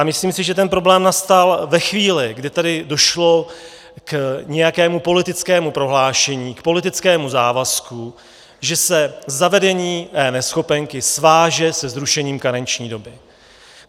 A myslím si, že ten problém nastal ve chvíli, kdy tady došlo k nějakému politickému prohlášení, k politickému závazku, že se zavedení eNeschopenky sváže se zrušením karenční doby.